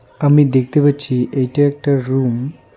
আমি দেখতে পাচ্ছি এইটা একটা রুম ।